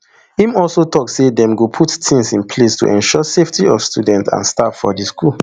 im also tok say dem go put tins in place to ensure safety of students and staff for di school